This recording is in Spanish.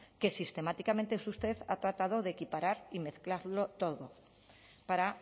que sistemáticamente usted ha tratado de equiparar y mezclarlo todo para